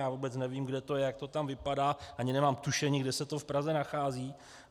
Já vůbec nevím, kde to je, jak to tam vypadá, ani nemám tušení, kde se to v Praze nachází.